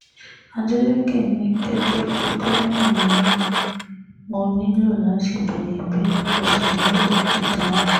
adeleke ní gẹ́gẹ́ bíi gómìnà yín mo nílò láti béèrè ìbéèrè mo sì nílò ìdáhùn